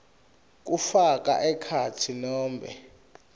kufaka ekhatsi nobe